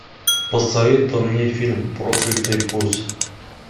посоветуй мне фильм проклятый путь